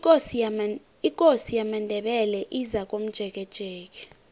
ikosi yamandebele izakomjekejeke